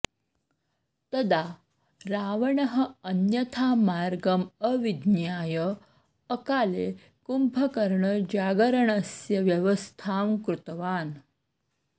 तदा रावणः अन्यथा मार्गम् अविज्ञाय अकाले कुम्भकर्णजागरणस्य व्यवस्थां कृतवान्